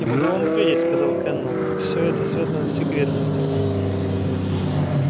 я могу вам ответить сказал кэннел всё это связано с секретностью